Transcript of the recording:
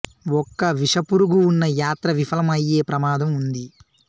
ఒక్క విషపురుగు ఉన్నా యాత్ర విఫలం అయ్యే ప్రమాదం ఉంది